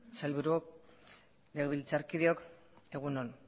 sailburuok legebiltzarkideok egun on